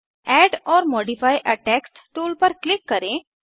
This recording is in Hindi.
add or modify a text tool पर क्लिक करें